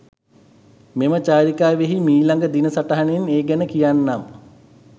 මෙම චාරිකාවෙහි මීළඟ දින සටහනෙන් ඒ ගැන කියන්නම් .